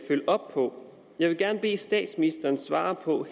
følge op på jeg vil gerne bede statsministeren svare